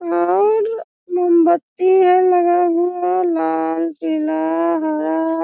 और मोमबत्ती है लगा हुआ लाल पीला हरा --